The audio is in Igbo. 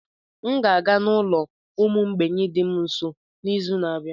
M ga-aga n'ulo ụmụ mgbei dị m nso n'izu na-abịa.